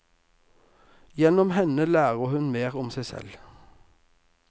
Gjennom henne lærer hun mer om seg selv.